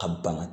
A bana